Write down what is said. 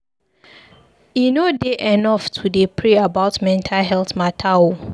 E no dey enough to dey pray about mental healt mata o.